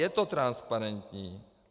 Je to transparentní.